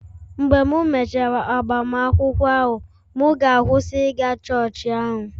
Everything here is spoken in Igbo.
Mgbe m mechara agbamakwụkwọ ahụ, mụ ga-akwụsị ịga chọọchị ahụ